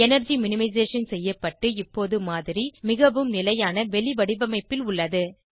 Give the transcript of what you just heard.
energy minimisation செய்யப்பட்டு இப்போது மாதிரி மிகவும் நிலையான வெளிவடிவமைப்பில் உள்ளது